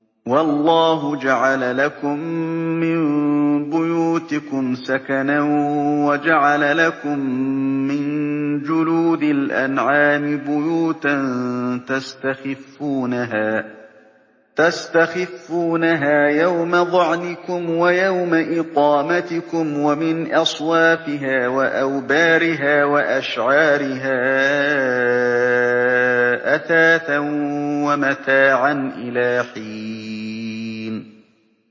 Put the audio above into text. وَاللَّهُ جَعَلَ لَكُم مِّن بُيُوتِكُمْ سَكَنًا وَجَعَلَ لَكُم مِّن جُلُودِ الْأَنْعَامِ بُيُوتًا تَسْتَخِفُّونَهَا يَوْمَ ظَعْنِكُمْ وَيَوْمَ إِقَامَتِكُمْ ۙ وَمِنْ أَصْوَافِهَا وَأَوْبَارِهَا وَأَشْعَارِهَا أَثَاثًا وَمَتَاعًا إِلَىٰ حِينٍ